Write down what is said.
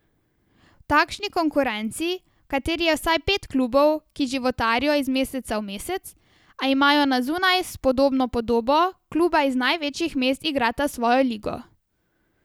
V takšni konkurenci, v kateri je vsaj pet klubov, ki životarijo iz meseca v mesec, a imajo na zunaj spodobno podobo, kluba iz največjih mest igrata svojo ligo.